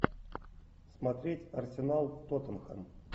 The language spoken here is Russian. смотреть арсенал тоттенхэм